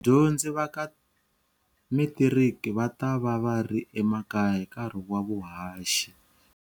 Vadyondzi va ka metiriki va ta va va ri emakaya hi nkarhi wa vuhaxi.